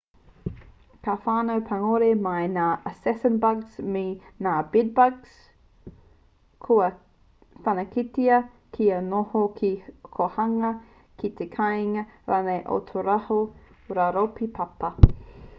ka whānau pangore mai ngā assassin-bugs me ngā bed-bugs kua whanaketia kia noho ki te kōhanga ki te kāinga rānei o tō rātou rauropi papa